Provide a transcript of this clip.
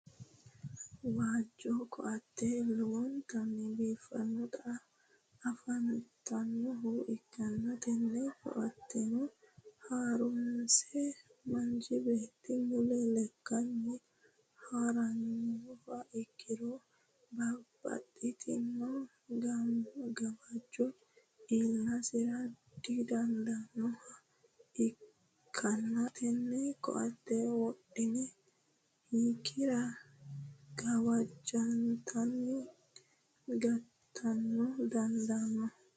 waajo ko'atte lowonnitanni biifanoti afantanoha ikanna tenne koattenitinno horose manchi beetti mulla lekkani haranoha ikiro babaxitino gawajo iilitasira dandiitanoha ikanna tenne koatte wodhiha ikira gawajotanni gatano dandaano.